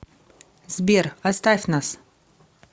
сбер оставь нас